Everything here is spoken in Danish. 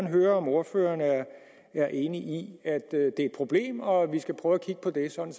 høre om ordføreren er enig i at det er et problem og at vi skal prøve at kigge på det sådan